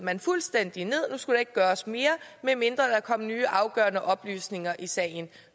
man fuldstændig ned nu skulle der ikke gøres mere medmindre der kom nye afgørende oplysninger i sagen